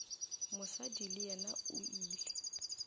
mosadi le yena o ile